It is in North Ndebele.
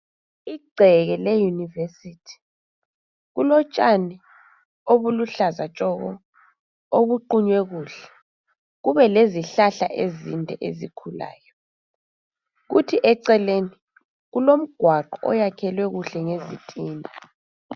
Igceke le Univesithi. Kulotshani obuluhlaza tshoko obuqunywe kuhle. Kube lezihlahla ezinde ezikhulayo. Kuthi eceleni kulomgwaqo oyakhelwe kuhle ngezitina